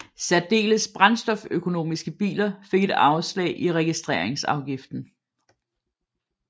Særdeles brændstoføkonomiske biler fik et afslag i registreringsafgiften